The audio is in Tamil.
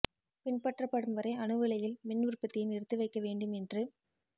பின்பற்றப்படும் வரை அணு உலையில் மின் உற்பத்தியை நிறுத்தி வைக்க வேண்டும் என்று